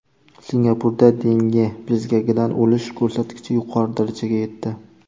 Singapurda Denge bezgagidan o‘lish ko‘rsatkichi yuqori darajaga yetdi.